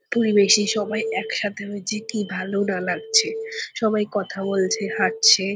খুবই বেশি একসাথে হয়েছি কি ভালো না লাগছে সবাই কথা বলছে হাটছে--